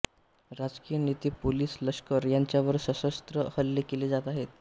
राजकीय नेतेपोलीसलष्कर यांच्यावर सशस्त्र हल्ले केले जात आहेत